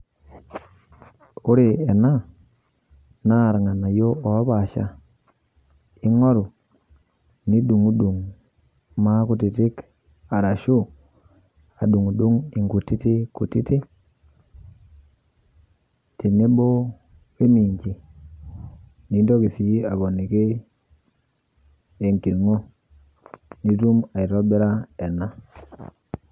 Ore ena naa lng'anaiyo opaasha ing'ool nidung'dung' maa nkutitik arashu nidung'u nkutitin kutitin teneboo e minjii. Niintokii sii apolikii enkiring'o piituum aitobira enaa.